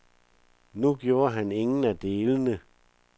Nu gjorde han ingen af delene.